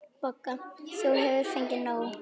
BOGGA: Þú hefur fengið nóg.